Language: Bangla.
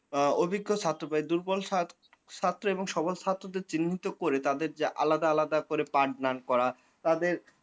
আ অভিজ্ঞ ছাত্র প্রায় দুর্বল ছা ছাত্র এবং সবল ছাত্রদের চিহ্নিত করে তাদের যা আলাদা আলাদা করে পাঠ দান করা তাদের